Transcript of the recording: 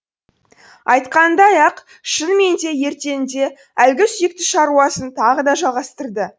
айтқанындай ақ шынымен де ертеңінде әлгі сүйікті шаруасын тағы да жалғастырды